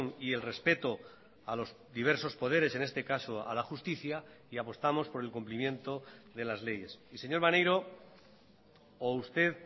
y el respeto a los diversos poderes en este caso a la justicia y apostamos por el cumplimiento de las leyes y señor maneiro o usted